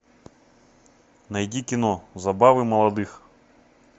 найди кино забавы молодых